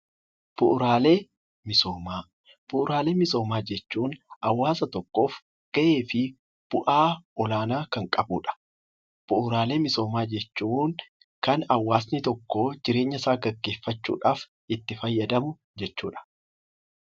Bu'uuraalee misoomaa jechuun hawaasa tokkoof gahee fi bu'aa olaanaa kan qabudha. Bu'uuraalee misoomaa jechuun kan hawaasni tokko jireenyasaa gaggeeffachuudhaaf itti fayyadamu jechuudha.